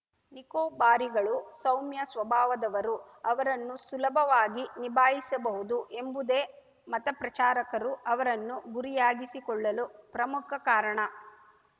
ನಿಕೋಬಾರಿಗಳು ಸೌಮ್ಯ ಸ್ವಭಾವದವರು ಅವರನ್ನು ಸುಲಭವಾಗಿ ನಿಭಾಯಿಸಬಹುದು ಎಂಬುದೇ ಮತಪ್ರಚಾರಕರು ಅವರನ್ನು ಗುರಿಯಾಗಿಸಿಕೊಳ್ಳಲು ಪ್ರಮುಖ ಕಾರಣ